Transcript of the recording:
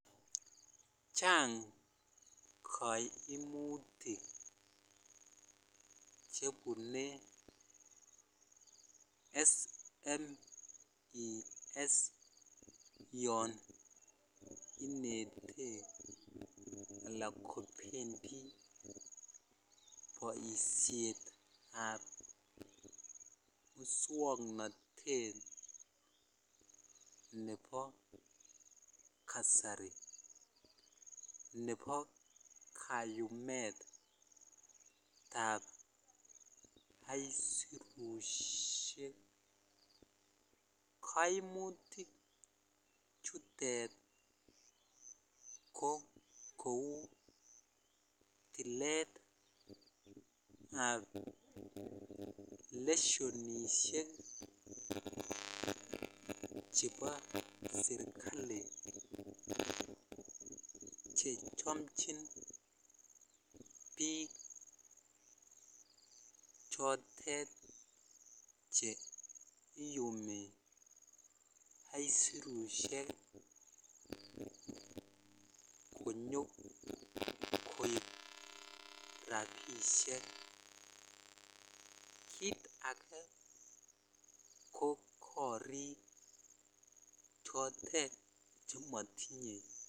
Chang kaimuyik chebune SMEs yaninete lakobendi baishet ab muswaknatet Nebo kasari Nebo kaiyumet ab asirushek kaimuyik chutet ko Kou ticket ab leshenishek chebo serikali chechomchin bik chotet Cheyumi asirushek konyokoib rabishek kit age ko korik chotet chematinye